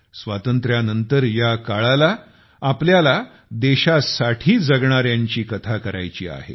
स्वातंत्र्यानंतर या काळाला आपल्याला देशासाठी जगणाऱ्यांची कथा करायची आहे